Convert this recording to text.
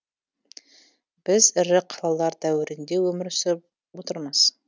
біз ірі қалалар дәуірінде өмір сүріп отырмыз